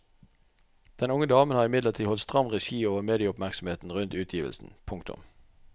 Den unge damen har imidlertid holdt stram regi over medieoppmerksomheten rundt utgivelsen. punktum